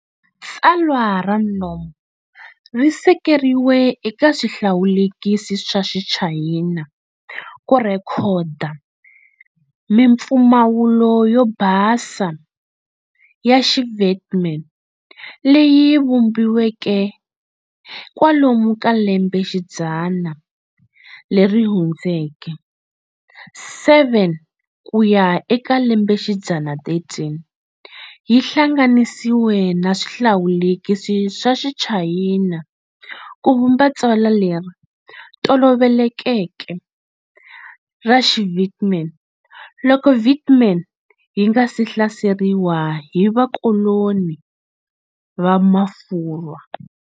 Tsalwa ra Nom ri sekeriwe eka swihlawulekisi swa Xichayina ku rhekhoda mimpfumawulo yo basa ya xiVietnam leyi vumbiweke kwalomu ka lembe xidzana leri hundzeke 7 ku ya eka lembe xidzana 13, yi hlanganisiwe na swihlawulekisi swa Xichayina ku vumba tsalwa leri tolovelekeke ra xiVietnam loko Vietnam yi nga si hlaseriwa hi vakoloni va Mafurwa.